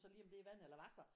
Så lige om det er vand eller wasser